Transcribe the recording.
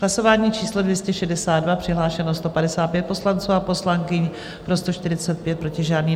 Hlasování číslo 262, přihlášeno 155 poslanců a poslankyň, pro 145, proti žádný.